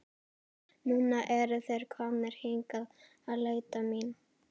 Núna eru þeir komnir hingað að leita mín.